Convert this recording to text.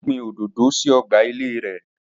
Ó gbin òdòdó sí ọgbà ilée rē